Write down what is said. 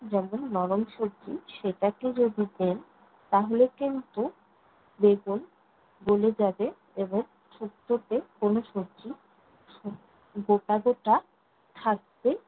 যেমন নরম সবজি সেটাকে যদি দেন, তাহলে কিন্তু বেগুন গলে যাবে এবং শুক্তোতে কোনো সবজি গোটা গোটা থাকবে